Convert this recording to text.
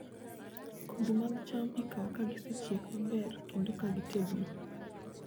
Kodhi mag cham ikawo ka gisechiek maber kendo ka gitegno.